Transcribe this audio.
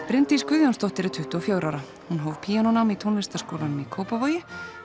Bryndís Guðjónsdóttir er tuttugu og fjögurra ára hún hóf píanónám í tónlistarskólanum í Kópavogi